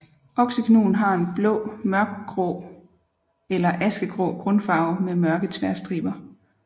Oksegnuen har en mørk blågrå eller askegrå grundfarve med mørke tværstriber